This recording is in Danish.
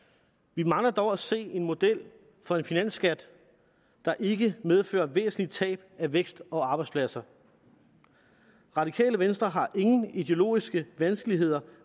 vi mangler dog at se en model for en finansskat der ikke medfører væsentlige tab af vækst og arbejdspladser radikale venstre har ingen ideologiske vanskeligheder